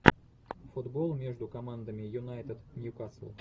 футбол между командами юнайтед ньюкасл